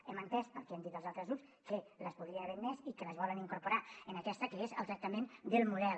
hem entès pel que han dit els altres grups que les podrien haver admès i que les volen incorporar en aquesta que és el tractament del model